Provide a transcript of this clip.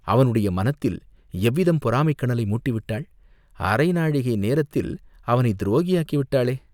அவனுடைய மனத்தில் எவ்விதம் பொறாமைக் கனலை மூட்டிவிட்டாள், அரை நாழிகை நேரத்தில் அவனைத் துரோகியாக்கி விட்டாளே